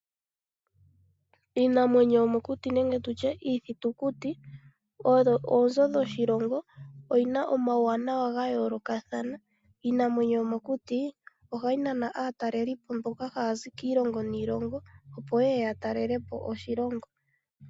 Iinamwenyo yomokuti nenge tutye iithutukuti oyo oonzo dhoshilongo. Oyina omawuwanawa gayoolokathana. Iinamwenyo yomokuti ohayi nana aataleli po mboka hayazi kiilongo niilongo oyo yeye yatalelepo oshilongo.